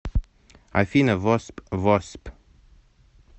афина восп в о с п